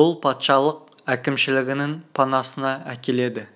бұл патшалық әкімшілігінің панасына әкеледі